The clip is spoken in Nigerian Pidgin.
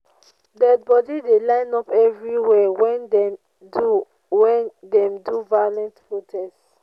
dead bodi dey line up everywhere wen dem do wen dem do violent protest.